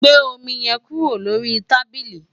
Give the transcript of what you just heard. gbé omi yẹn kúrò lórí tábílì!